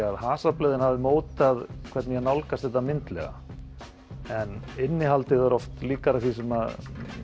að hasarblöðin hafi mótað hvernig ég nálgast þetta myndlega en innihaldið er oft líkara því sem